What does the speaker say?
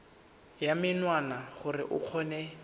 ya menwana gore o kgone